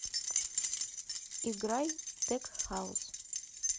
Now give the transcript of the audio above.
играй тек хаус